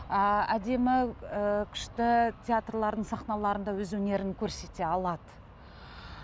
ы әдемі ы күшті театрлардың сахналарында өз өнерін көрсете алады